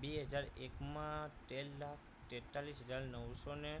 બે હજાર એક માં તેર લાખ તેતાલીસ હજાર નવસોને